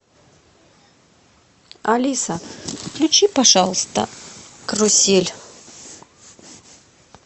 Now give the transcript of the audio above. алиса включи пожалуйста карусель